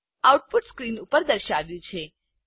output screen ઉપર દર્શાવાયું છે